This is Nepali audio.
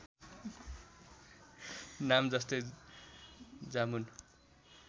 नाम जस्तै जामुन